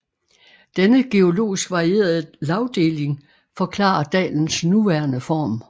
Denne geologisk varierede lagdeling forklarer dalens nuværende form